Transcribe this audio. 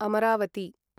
Amravati